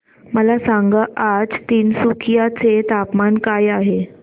मला सांगा आज तिनसुकिया चे तापमान काय आहे